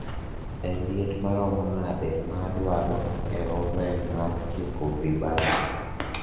e liet maromo nade maadwaro e oven mar chieko vibanzi